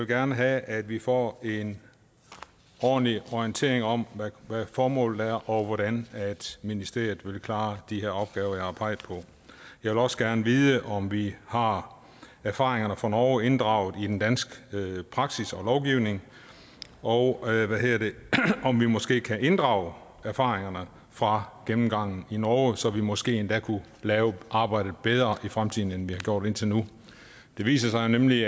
gerne have at vi får en ordentlig orientering om hvad formålet er og hvordan ministeriet vil klare de her opgaver jeg har peget på jeg vil også gerne vide om vi har erfaringerne fra norge inddraget i den danske praksis og lovgivning og om vi måske kan inddrage erfaringerne fra gennemgangen i norge så vi måske endda kunne lave arbejdet bedre i fremtiden end vi har gjort indtil nu det viser sig nemlig